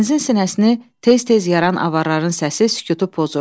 Dənizin sinəsini tez-tez yaran avarların səsi sükutu pozurdu.